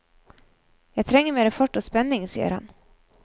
Jeg trenger mer fart og spenning, sier han.